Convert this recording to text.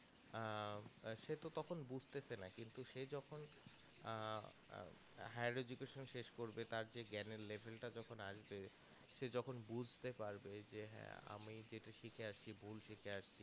আহ সেই তো তখন বুঝতেসে না তো সে যখন আহ higher education শেষ করবে তারপর সে জ্ঞান এর level টা যখন আসবে সে যখন বুঝতে পারবে যে হ্যাঁ আমি যেটা শিখে আসছি ভুল শিখে আসছি